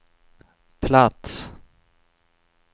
plats